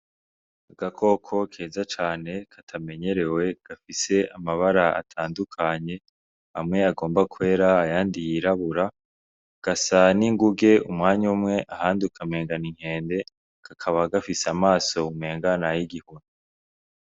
Agakoko keza cane katamenyerewe gafise amabara atandukanye amwe agomba kwera ayandi yirabura gasa n'inguge umwanya umwe ahandi ukamengo n'inkende kakaba gafise amaso umengo nayi gihuna.